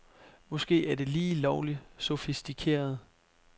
Måske er det lige lovligt sofistikeret.